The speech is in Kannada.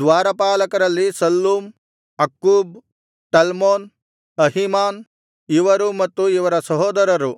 ದ್ವಾರಪಾಲಕರಲ್ಲಿ ಶಲ್ಲೂಮ್ ಅಕ್ಕೂಬ್ ಟಲ್ಮೋನ್ ಅಹೀಮಾನ್ ಇವರೂ ಮತ್ತು ಇವರ ಸಹೋದರರು